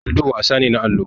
Lido wasan ne na allo.